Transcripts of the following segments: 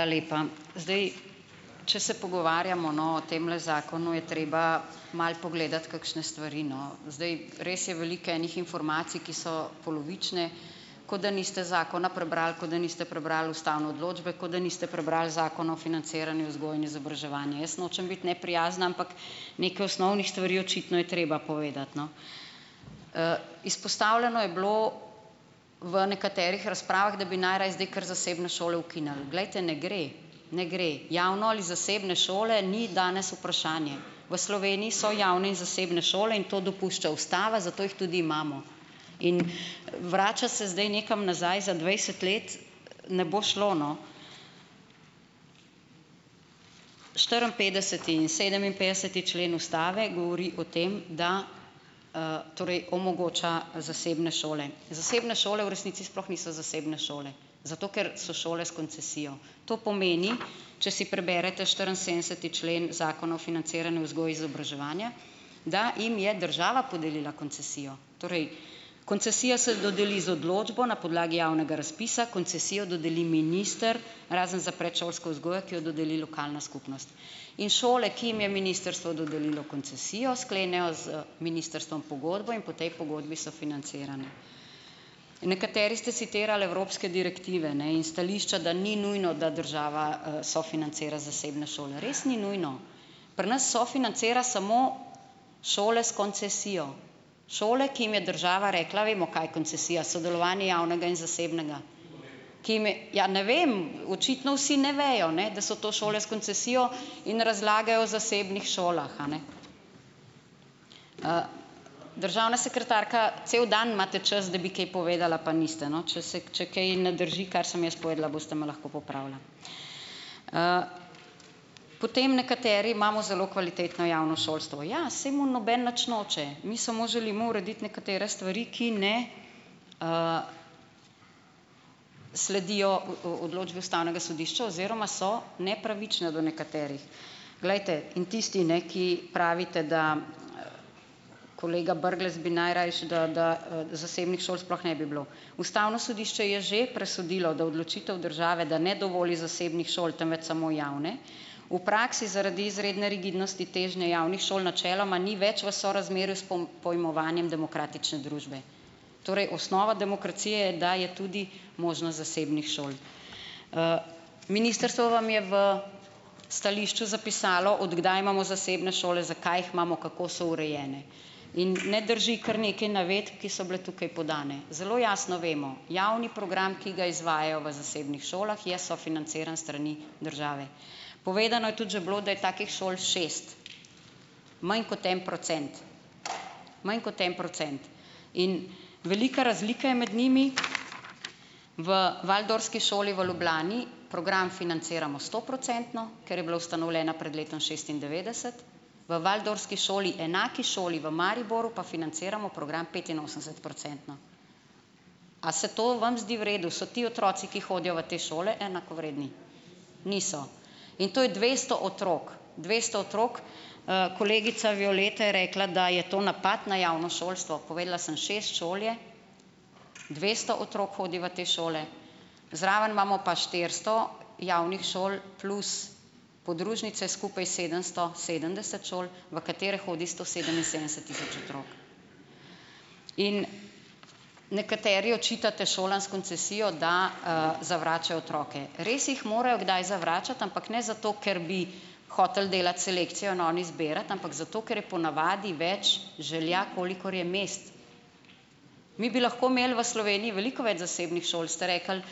A lepa. Zdaj, če se pogovarjamo, no, o temle zakonu, je treba malo pogledati kakšne stvari, no. Zdaj, res je veliko enih informacij, ki so polovične, kot da niste zakona prebrali, kot da niste prebrali ustavne odločbe, kot da niste prebrali zakona o financiranju vzgoje in izobraževanja. Jaz nočem biti neprijazna, ampak nekaj osnovnih stvari očitno je treba povedati, no. izpostavljeno je bilo v nekaterih razpravah, da bi najraje zdaj kar zasebne šole ukinili. Glejte, ne gre. Ne gre. Javne ali zasebne šole ni danes vprašanje. V Sloveniji so javne in zasebne šole in to dopušča ustava, zato jih tudi imamo. In vračati se zdaj nekam nazaj za dvajset let ne bo šlo, no. štiriinpetdeseti in sedeminpetdeseti člen ustave govori o tem, da, torej omogoča zasebne šole. Zasebne šole v resnici sploh niso zasebne šole, zato ker so šole s koncesijo. To pomeni, če si preberete štiriinsedemdeseti člen zakona o financiranju vzgoje izobraževanja, da jim je država podelila koncesijo. Torej, koncesija se dodeli z odločbo na podlagi javnega razpisa, koncesijo dodeli minister, razen za predšolsko vzgojo, ki jo dodeli lokalna skupnost. In šole, ki jim je ministrstvo dodelilo koncesijo, sklenejo z ministrstvom pogodbo in po tej pogodbi so financirane. Nekateri ste citirali evropske direktive, ne, in stališča, da ni nujno, da država, sofinancira zasebne šole. Res ni nujno. Pri nas sofinancira samo šole s koncesijo. Šole, ki jim je država rekla, vemo, kaj je koncesija, sodelovanje javnega in zasebnega ki jim je - ja ne vem, očitno vsi ne vejo, ne, da so to šole s koncesijo in razlagajo o zasebnih šolah, a ne. Državna sekretarka, cel dan imate čas, da bi kaj povedala pa niste, no. Če se, če kaj ne drži, kar sem jaz povedala, boste me lahko popravila. Potem nekateri imamo zelo kvalitetno javno šolstvo. Ja, saj mu noben nič noče. Mi samo želimo urediti nekatere stvari, ki ne, sledijo o, odločbi ustavnega sodišča oziroma so nepravične do nekaterih. Glejte, in tisti, ne, ki pravite, da - kolega Brglez bi najrajši, da, da, zasebnih šol sploh ne bi bilo. Ustavno sodišče je že presodilo, da odločitev države, da ne dovoli zasebnih šol, temveč samo javne, v praksi zaradi izredne rigidnosti težnje javnih šol načeloma ni več v sorazmerju s pojmovanjem demokratične družbe. Torej, osnova demokracije je, da je tudi možnost zasebnih šol. Ministrstvo vam je v stališču zapisalo, od kdaj imamo zasebne šole, zakaj jih imamo, kako so urejene. In ne drži, kar nekaj navedb, ki so bile tukaj podane. Zelo jasno vemo. Javni program, ki ga izvajajo v zasebnih šolah, je sofinanciran s strani države. Povedano je tudi že bilo, da je takih šol šest. Manj kot en procent. Manj kot en procent. In velika razlika je med njimi. V waldorfski šoli v Ljubljani program financiramo stoprocentno, ker je bila ustanovljena pred letom šestindevetdeset, v waldorfski šoli, enaki šoli v Mariboru, pa financiramo program petinosemdesetprocentno. A se to vam zdi v redu? So ti otroci, ki hodijo v te šole, enakovredni? Niso. In to je dvesto otrok. Dvesto otrok. Kolegica Violeta je rekla, da je to napad na javno šolstvo. Povedala sem - šest šol je, dvesto otrok hodi v te šole, zraven imamo pa štiristo javnih šol plus podružnice, skupaj sedemsto sedemdeset šol, v katere hodi sto sedeminsedemdeset tisoč otrok. In nekateri očitate šolam s koncesijo, da, zavračajo otroke. Res jih morajo kdaj zavračati, ampak ne zato, ker bi hoteli delati selekcijo in oni izbirati, ampak zato ker je ponavadi več želja, kolikor je mest. Mi bi lahko imeli v Sloveniji veliko več zasebnih šol. Ste rekli: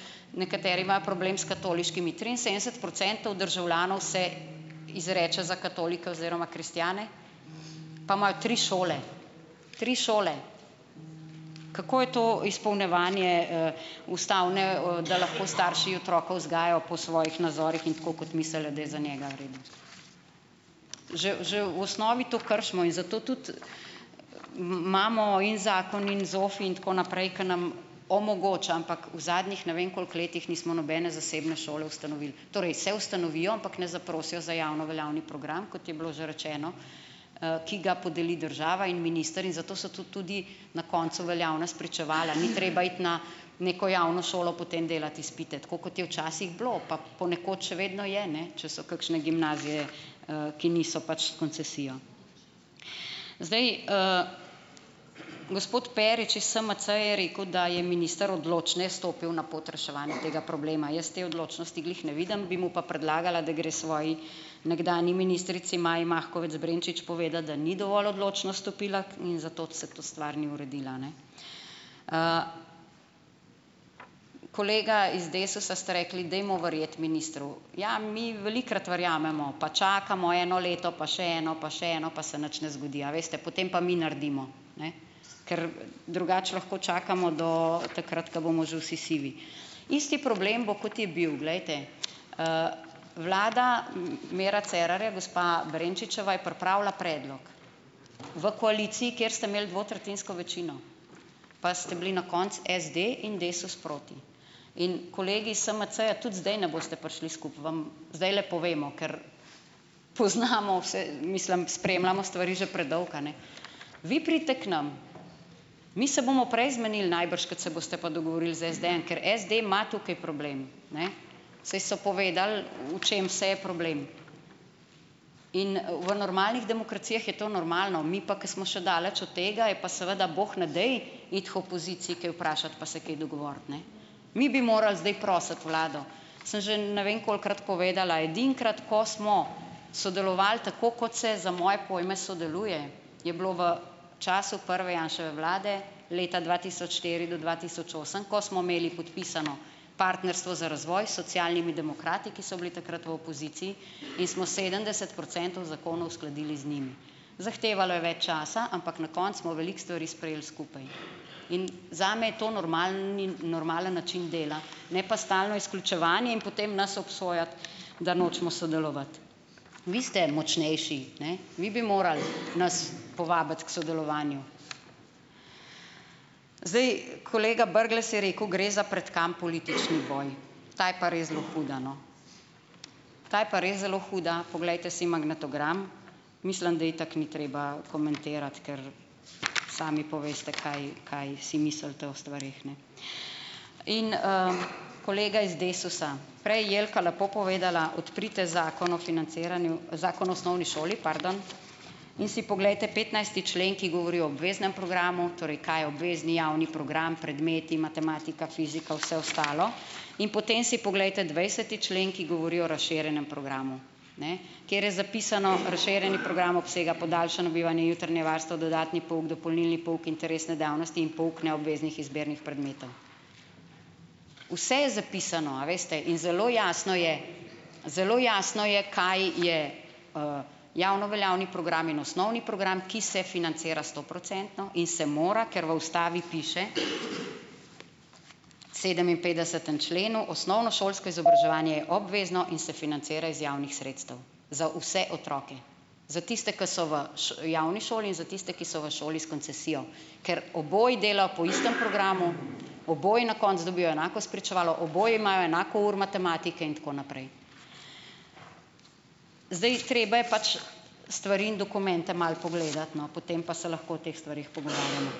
"Nekateri imajo problem s katoliškimi." Triinsedemdeset procentov državljanov se izreče za katolike oziroma kristjane pa imajo tri šole. Tri šole. Kako je to izpolnjevanje, ustavne, da lahko starši otroka vzgajajo po svojih nazorih in tako, kot mislijo, da je za njega v redu? Že, že v osnovi to kršimo. In zato tudi, imamo in zakon in ZOFVI in tako naprej, ki nam omogoča - ampak v zadnjih ne vem koliko letih nismo nobene zasebne šole ustanovili. Torej, se ustanovijo, ampak ne zaprosijo za javno veljavni program, kot je bilo že rečeno, ki ga podeli država in minister in zato so tu tudi na koncu veljavna spričevala. Ni treba iti na neko javno šolo, potem delati izpite. Tako, kot je včasih bilo. Pa ponekod še vedno je, ne. Če so kakšne gimnazije, ki niso pač s koncesijo. Zdaj, gospod Perič iz SMC-ja je rekel, da je minister odločneje stopil na pot reševanja tega problema. Jaz te odločnosti glih ne vidim, bi mu pa predlagala, da gre svoji nekdanji ministrici Maji Makovec Brenčič povedat, da ni dovolj odločno stopila k in zato se tu stvar ni uredila, a ne. Kolega iz Desusa, ste rekli: "Dejmo verjeti ministru." Ja, mi velikokrat verjamemo. Pa čakamo eno leto pa še eno pa še eno pa se nič ne zgodi. A veste. Potem pa mi naredimo. Ne ... Ker drugače lahko čakamo do takrat, ko bomo že vsi sivi. Isti problem bo, kot je bil. Glejte. Vlada, Mira Cerarja, gospa Brenčičeva je pripravila predlog. V koaliciji, kjer ste imeli dvotretjinsko večino. Pa ste bili na koncu SD in Desus proti. In kolegi iz SMC-ja tudi zdaj ne boste prišli skupaj. Vam zdajle povemo. Ker poznamo vse, mislim, spremljamo stvari že predolgo, a ne. Vi pridite k nam. Mi se bomo prej zmenili najbrž, kot se boste pa dogovorili z SD-jem. Ker SD ima tukaj problem. Ne ... Saj so povedali, v čem vse je problem. In, v normalnih demokracijah je to normalno. Mi pa, ko smo še daleč od tega, je pa seveda, bog ne daj, iti k opoziciji kaj vprašat pa se kaj dogovorit, ne. Mi bi morali zdaj prositi vlado. Sem že ne vem kolikokrat povedala - edinkrat, ko smo sodelovali tako, kot se za moje pojme sodeluje, je bilo v času prve Janševe vlade, leta dva tisoč štiri do dva tisoč osem, ko smo imeli podpisano partnerstvo za razvoj s socialnimi demokrati, ki so bili takrat v opoziciji in smo sedemdeset procentov zakonov uskladili z njimi. Zahtevalo je več časa, ampak na koncu smo veliko stvari sprejeli skupaj. In zame je to normalni, normalen način dela. Ne pa stalno izključevanje in potem nas obsojati, da nočemo sodelovati. Vi ste močnejši. Ne? Vi bi morali nas povabiti k sodelovanju. Zdaj, kolega Brglez je rekel: "Gre za pretkan politični boj." Ta je pa res zelo huda, no. Ta je pa res zelo huda. Poglejte si magnetogram. Mislim, da itak ni treba komentirati, ker sami poveste, kaj, kaj si mislite o stvareh, ne ... In, kolega iz Desusa - prej je Jelka lepo povedala: "Odprite zakon o financiranju, zakon o osnovni šoli, pardon, in si poglejte petnajsti člen, ki govori o obveznem programu, torej, kaj je obvezni javni program, predmeti, matematika, fizika, vse ostalo, in potem si poglejte dvajseti člen, ki govori o razširjenem programu." Ne? Kateri je zapisano: "Razširjeni program obsega podaljšano bivanje, jutranje varstvo, dodatni pouk, dopolnilni pouk, interesne dejavnosti in pouk neobveznih izbirnih predmetov." Vse je zapisano, a veste. In zelo jasno je - zelo jasno je, kaj je, javno veljavni program in osnovni program, ki se financira stoprocentno in se mora, ker v ustavi piše, sedeminpetdesetem členu - "osnovnošolsko izobraževanje je obvezno in se financira iz javnih sredstev". Za vse otroke. Za tiste, ki so v javni šoli, in za tiste, ki so v šoli s koncesijo. ker oboji delajo po istem programu, oboji na koncu dobijo enako spričevalo, oboji imajo enako ur matematike in tako naprej. Zdaj, treba je pač stvari in dokumente malo pogledati, no, potem pa se lahko o teh stvareh pogovarjamo.